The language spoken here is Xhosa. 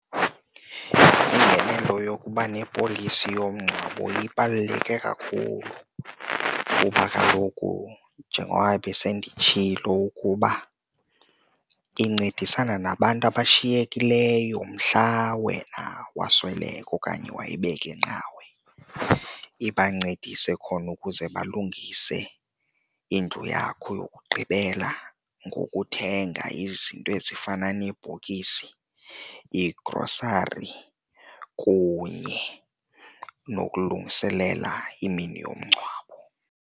Ingenelo yokuba nepolisi yomngcwabo ibaluleke kakhulu kuba kaloku njengoba besenditshilo ukuba incedisana nabantu abashiyekileyo mhla wena wasweleka okanye wayibeka inqawe, ibancedise khona ukuze balungise indlu yakho yokugqibela ngokuthenga izinto ezifana neebhokisi, iigrosari kunye nokulungiselela imini yomngcwabo.